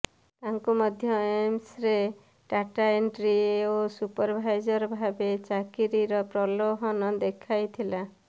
ତାଙ୍କୁ ମଧ୍ୟ ଏମ୍ସରେ ଡାଟା ଏଣ୍ଟ୍ରି ଓ ସୁପରଭାଇଜର ଭାବେ ଚାକିରୀର ପ୍ରୋଲଭନ ଦେଖାଇଥିଲା